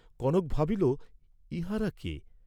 কনক ভাবিল, ইহাঁরা কে?